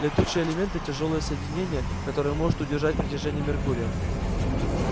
летучие элементы тяжёлые соединения которые может удержать притяжение меркурия